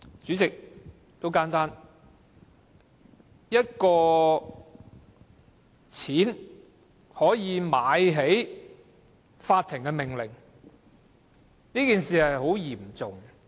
很簡單，一筆錢可以"買起"法庭的命令，是很嚴重的問題。